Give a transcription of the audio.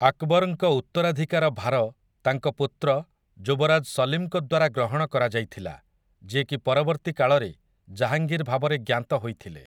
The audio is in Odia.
ଆକ୍‌ବରଙ୍କ ଉତ୍ତରାଧିକାର ଭାର ତାଙ୍କ ପୁତ୍ର, ଯୁବରାଜ ସଲିମ୍‌ଙ୍କ ଦ୍ୱାରା ଗ୍ରହଣ କରାଯାଇଥିଲା, ଯିଏକି ପରବର୍ତ୍ତୀ କାଳରେ ଜାହାଙ୍ଗୀର୍ ଭାବରେ ଜ୍ଞାତ ହୋଇଥିଲେ ।